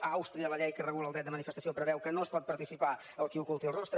a àustria la llei que regula el dret de manifestació preveu que no hi pot participar el qui oculti el rostre